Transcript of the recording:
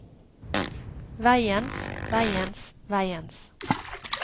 veiens veiens veiens